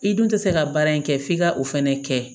I dun tɛ se ka baara in kɛ f'i ka o fɛnɛ kɛ